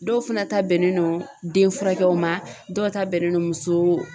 Dɔw fana ta bɛnnen no den furakɛw ma dɔw ta bɛnnen no muso